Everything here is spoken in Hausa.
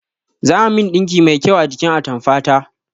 Za a min ɗinki mai kyau a jikin atamfa ta